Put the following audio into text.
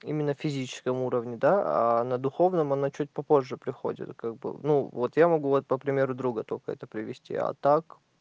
именно в физическом уровне да а на духовном она чуть попозже приходит как бы ну вот я могу вот по примеру друга только это привести а так